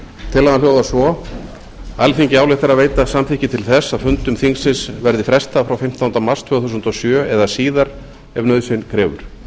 tillagan hljóðar svo alþingi ályktar að veita samþykki til þess að fundum þingsins verði frestað frá fimmtándu mars tvö þúsund og sjö eða síðar ef nauðsyn krefur